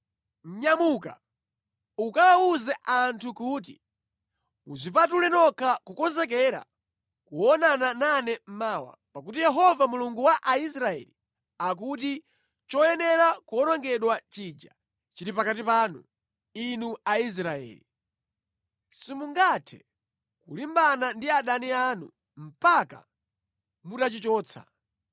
“Nyamuka, ukawawuze anthu kuti, ‘Mudzipatule nokha kukonzekera kuonana nane mawa; pakuti Yehova Mulungu wa Israeli akuti choyenera kuwonongedwa chija chili pakati panu, inu Aisraeli. Simungathe kulimbana ndi adani anu mpaka mutachichotsa.’